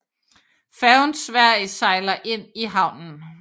Færgen Sverige sejler ind i havnen